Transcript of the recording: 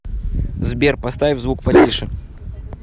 сбер поставь звук потише